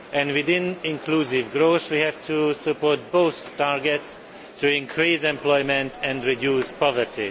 Within inclusive growth, we have to support both targets to increase employment and reduce poverty.